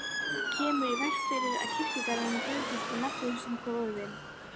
Kemur í veg fyrir að kirkjugarðurinn breytist í nafnlausa gróðurvin.